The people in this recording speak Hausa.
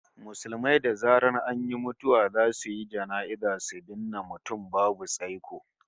Musulmai da zaran an yi mutuwa zasu yi jana'iza su binne mutum babu tsaiko